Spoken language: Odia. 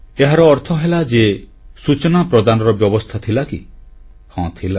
ଏହାର ଅର୍ଥ ହେଲା ଯେ ସୂଚନା ପ୍ରଦାନର ବ୍ୟବସ୍ଥା ଥିଲା କି ହଁ ଥିଲା